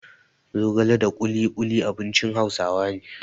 Zogala da ƙuluƙuli abincin Hausawa ne.